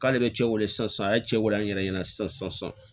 K'ale bɛ cɛ wele sisan a ye cɛ wele an yɛrɛ ɲɛna sisan sisan